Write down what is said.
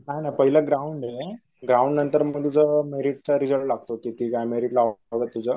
नाही नाही पहिल ग्राउंड येईन. ग्राउंड नंतर मग मेरिट चा रिजल्ट लागतो तिथे